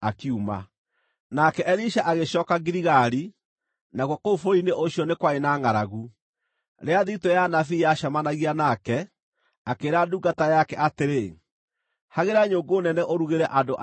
Nake Elisha agĩcooka Giligali, nakuo kũu bũrũri-inĩ ũcio nĩ kwarĩ na ngʼaragu. Rĩrĩa thiritũ ya anabii yacemanagia nake, akĩĩra ndungata yake atĩrĩ, “Hagĩra nyũngũ nene ũrugĩre andũ aya irio.”